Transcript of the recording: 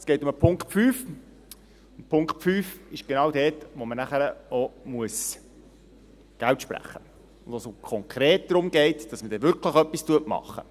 Es geht um den Punkt 5, genau jener Punkt, wo wir das Geld sprechen, wo es konkret darum geht, dass man wirklich etwas macht.